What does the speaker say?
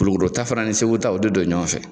Kulukoro ta fana ni Segu ta o de don ɲɔgɔn fɛ.